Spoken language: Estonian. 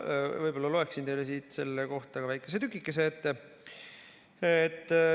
Ma loen teile siit selle kohta väikese tükikese ette.